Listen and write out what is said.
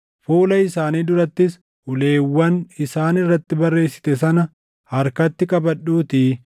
Fuula isaanii durattis uleewwan isaan irratti barreessite sana harkatti qabadhuutii